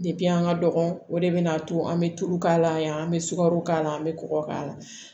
Depi an ka dɔgɔn o de bɛna to an bɛ tulu k'a la yan an bɛ sukaro k'a la an bɛ kɔgɔ k'a la